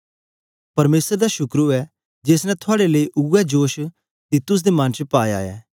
परमेसर दा शुकर ऐ जेस ने थुआड़े लेई उवै जोश तीतुस दे मन च पाया ऐ